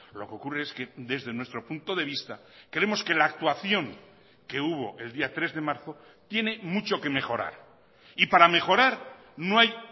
lo que ocurre es que desde nuestro punto de vista creemos que la actuación que hubo el día tres de marzo tiene mucho que mejorar y para mejorar no hay